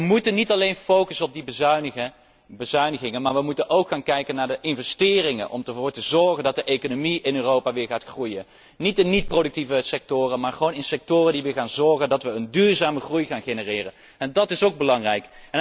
Wij moeten niet alleen focussen op die bezuinigingen, maar wij moeten ook gaan kijken naar de investeringen om ervoor te zorgen dat de economie in Europa weer gaat groeien. Niet de niet productieve sectoren, maar gewoon de sectoren die weer gaan zorgen dat wij een duurzame groei gaan genereren. Dat is ook belangrijk.